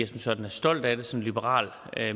som sådan er stolt af det som liberal